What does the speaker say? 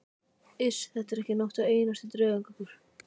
Iss, þetta er ekki nokkur einasti draugagangur.